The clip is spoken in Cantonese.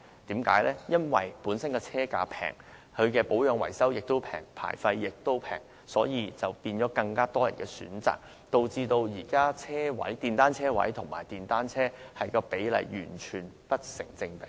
電單車車價低，保養維修費用和牌費亦低，因而成為更多市民的選擇，令現時電單車車位和電單車的數目完全不成比例。